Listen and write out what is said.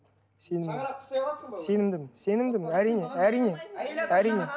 сенімдімін шаңырақты ұстай аласың ба өзің сенімдімін сенімдімін әрине әрине әрине